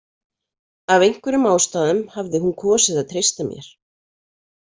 Af einhverjum ástæðum hafði hún kosið að treysta mér.